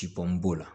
Cibo b'o la